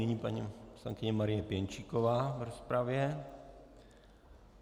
Nyní paní poslankyně Marie Pěnčíková v rozpravě.